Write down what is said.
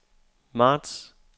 marts